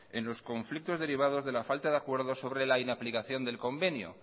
en los conflictos derivados de la falta de acuerdo sobre la inaplicación del convenio